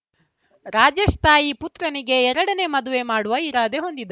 ರಾಜೇಶ್‌ ತಾಯಿ ಪುತ್ರನಿಗೆ ಎರಡನೇ ಮದುವೆ ಮಾಡುವ ಇರಾದೆ ಹೊಂದಿದ್ದ